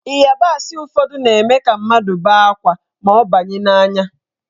Ịyabasị ụfọdụ na-eme ka mmadụ bee akwa ma ọ banye n'anya.